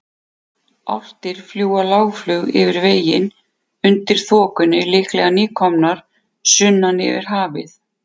Álftir fljúga lágflug yfir veginn undir þokunni, líklega nýkomnar sunnan yfir hafið.